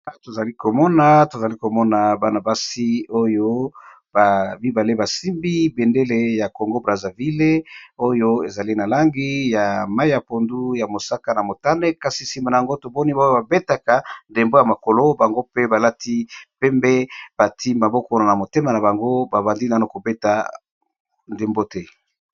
Tozali komona tozali komona banabasi oyo babibale basimbi bendele ya congo brazeville. Oyo ezali na langi ya mai ya pondu ya mosaka na motane. Kasi nsima na yango toboni baoyo babetaka ndembo ya makolo bango pe balati pembe bati mbabokono na motema na bango babandi nano kobeta ndembo te